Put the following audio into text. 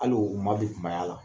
Hali o ma don kumaya.